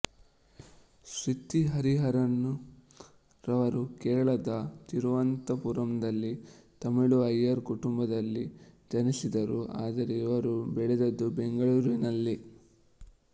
ಶೃತಿ ಹರಿಹರನ್ ರವರು ಕೇರಳದ ತಿರುವನಂತಪುರದಲ್ಲಿ ತಮಿಳು ಅಯ್ಯರ್ ಕುಟುಂಬದಲ್ಲಿ ಜನಿಸಿದರು ಆದರೆ ಇವರು ಬೆಳೆದದ್ದು ಬೆಂಗಳೂರಿನಲ್ಲಿ